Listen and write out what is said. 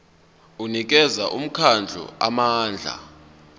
unikeza umkhandlu amandla